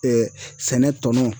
sɛnɛ tɔnɔn